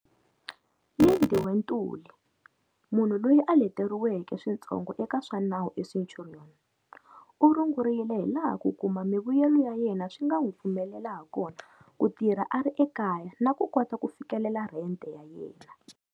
Lindiwe Ntuli, munhu loyi a leteriweke switsongo eka swa nawu eCenturion, u rungurile hilaha ku kuma mivuyelo ya yena swi nga n'wi pfumelela hakona ku tirha a ri ekaya na ku kota ku fikelela rhente ya yena.